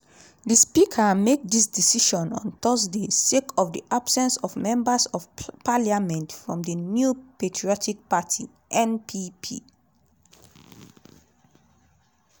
di speaker make dis decision on thursday sake of di absence of members of parliament from di new patriotic party (npp).